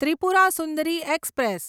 Tripura Sundari express